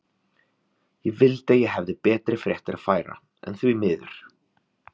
Ég vildi að ég hefði betri fréttir að færa, en því miður.